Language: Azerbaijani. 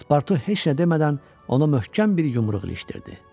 Paspartu heç nə demədən ona möhkəm bir yumruq ilişdirdi.